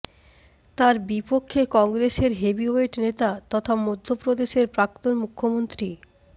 তাঁর বিপক্ষে কংগ্রেসের হেভিওয়েট নেতা তথা মধ্যপ্রদেশের প্রাক্তন মুখ্যমন্ত্রী